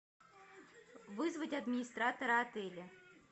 вызвать администратора отеля